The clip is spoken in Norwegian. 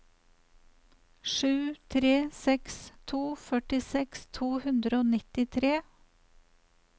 sju tre seks to førtiseks to hundre og nittitre